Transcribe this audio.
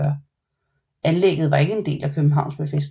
Anlæggget var ikke en del af Københavns befæstning